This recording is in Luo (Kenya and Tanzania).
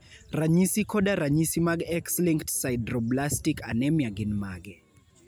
Ranyisi koda ranyisi mag X-linked sideroblastic anemia gin mage?